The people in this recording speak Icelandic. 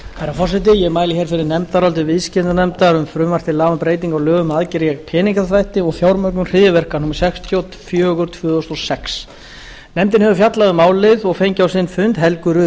forseti ég mæli hér fyrir nefndaráliti viðskiptanefndar um frumvarp til laga um breytingu á lögum um aðgerðir gegn peningaþvætti og fjármögnun hryðjuverka númer sextíu og fjögur tvö þúsund og sex nefndin hefur fjallað um málið og fengið á sinn fund helgu rut